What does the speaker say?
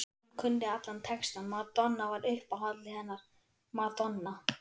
Hún kunni allan textann, Madonna var uppáhaldið hennar, Madonna